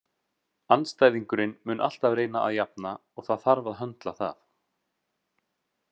Andstæðingurinn mun alltaf reyna að jafna og það þarf að höndla það.